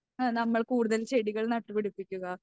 നമ്മൾ കൂടുതൽ ചെടികൾ നട്ടുപിടിപ്പിക്കുക.